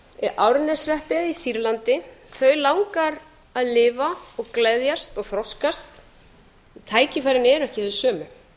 í reykjavík í árneshreppi hér á landi þau langar að lifa og gleðjast og þroskast en tækifærin eru ekki þau sömu